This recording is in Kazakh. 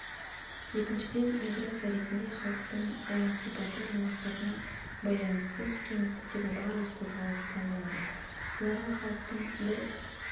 екіншіден миграция ретінде халықтың оның сипаты мен мақсатына байланыссыз кеңістіктегі барлық қозғалысы танылады бұларға халықтың бір